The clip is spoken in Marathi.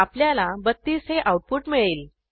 आपल्याला 32 हे आऊटपुट मिळेल